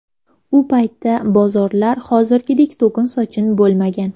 U paytda bozorlar hozirgidek to‘kin-sochin bo‘lmagan.